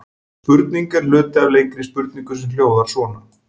Spurningin er hluti af lengri spurningu sem hljóðar svona: